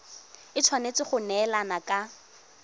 e tshwanetse go neelana ka